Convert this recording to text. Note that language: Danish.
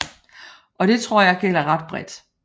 Og det tror jeg gælder ret bredt